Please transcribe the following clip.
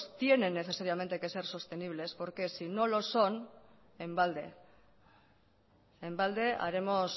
tienen necesariamente que ser sostenibles porque si no lo son en balde en balde haremos